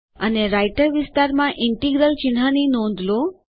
અને રાઈટર વિસ્તારમાં ઇન્ટિગ્રલ ચિહ્નની નોંધ લો